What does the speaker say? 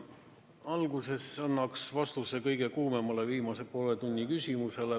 Alguses annan vastuse viimase poole tunni kõige kuumemale küsimusele.